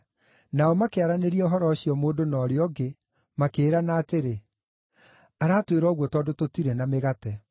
Nao makĩaranĩria ũhoro ũcio mũndũ na ũrĩa ũngĩ, makĩĩrana atĩrĩ, “Aratwĩra ũguo tondũ tũtirĩ na mĩgate.”